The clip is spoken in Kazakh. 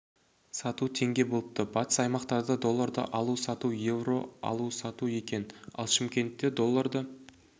сату теңге болыпты батыс аймақтарда долларды алу сату евро алу сату екен ал шымкентте долларды